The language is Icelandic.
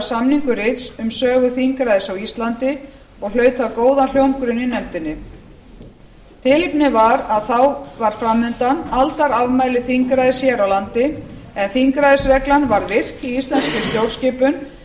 samningu rits um sögu þingræðis á íslandi og hlaut það góðan hljómgrunn í nefndinni tilefnið var að þá var fram undan aldarafmæli þingræðis hér á landi en þingræðisreglan var virt í íslenskri